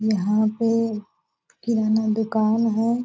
यहाँ पे किराना दुकान है ।